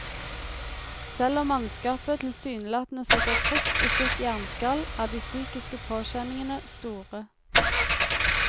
Selv om mannskapet tilsynelatende sitter trygt i sitt jernskall, er de psykiske påkjenningene store.